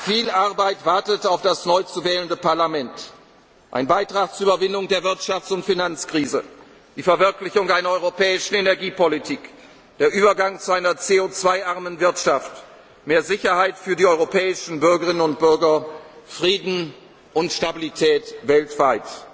Viel Arbeit wartet auf das neu zu wählende Parlament ein Beitrag zur Überwindung der Wirtschafts und Finanzkrise, die Verwirklichung einer europäischen Energiepolitik, der Übergang zu einer CO 2 armen Wirtschaft, mehr Sicherheit für die europäischen Bürgerinnen und Bürger, Frieden und Stabilität